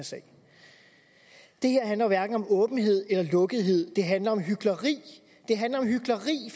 sag det her handler hverken om åbenhed eller lukkethed det handler om hykleri det handler om hykleri